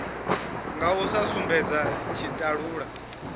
nga u sa sumbedza tshitalula